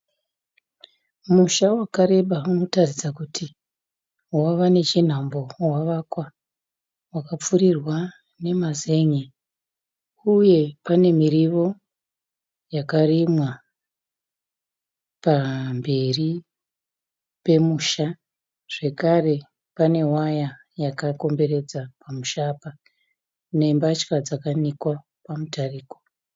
Musha wakareba unotaridza kuti wava nechinhambo wavakwa , wakapfurirwa nemazen'e uye pane mirivo yakarimwa pamberi pemusha, zvekare pane waya yakakomberedza pamusha apa nembatya dzakanikwa pamutariko.